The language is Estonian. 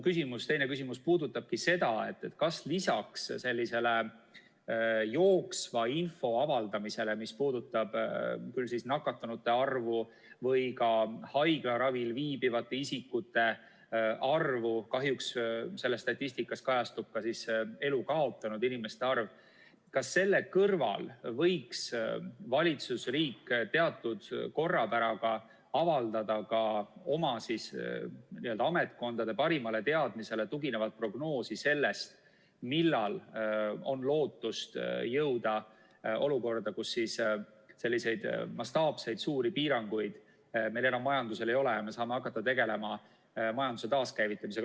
Mu teine küsimus puudutabki seda, kas lisaks jooksva info avaldamisele, mis puudutab nakatunute arvu või ka haiglaravil viibivate isikute arvu , võiks valitsus, riik, teatud korrapäraga avaldada ka oma ametkondade parimale teadmisele tuginevat prognoosi selle kohta, millal on lootust jõuda olukorda, kus selliseid mastaapseid piiranguid meil majanduses enam ei ole ja me saame hakata tegelema majanduse taaskäivitamisega.